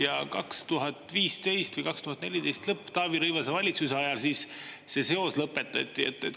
Ja 2015 või 2014 lõpp Taavi Rõivase valitsuse ajal see seos lõpetati.